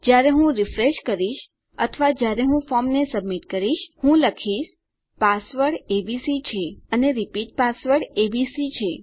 જયારે હું રીફ્રેશ કરીશ અથવા જયારે હું ફોર્મને સબમિટ કરીશ હું લખીશ પાસવર્ડ એબીસી છે અને રીપીટ પાસવર્ડ એબીસી છે